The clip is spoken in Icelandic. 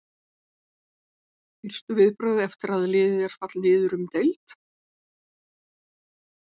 Fyrstu viðbrögð eftir að liðið er fallið niður um deild?